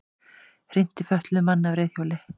Hrinti fötluðum manni af reiðhjóli